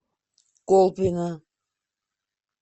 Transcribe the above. колпино